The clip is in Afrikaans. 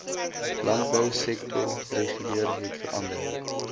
landbousektor reguleer hetverander